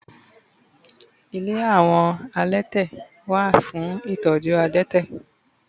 ile awon elete wa fun itoju adete